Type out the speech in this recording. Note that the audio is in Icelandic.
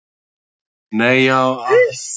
Hella, áttu tyggjó?